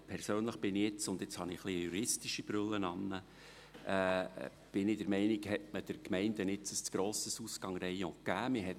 Persönlich bin ich der Meinung – und jetzt trage ich eine juristische Brille –, dass man den Gemeinden ein zu grosses Ausgangsrayon gegeben hat.